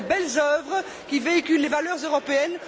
Ce sont de belles œuvres, qui véhiculent les valeurs européennes.